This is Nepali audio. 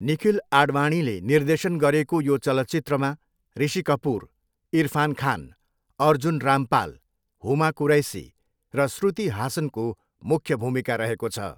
निखिल आडवाणीले निर्देशन गरेको यो चलचित्रमा ऋषि कपुर, इरफान खान, अर्जुन रामपाल, हुमा कुरैसी र श्रुति हासनको मुख्य भूमिका रहेको छ।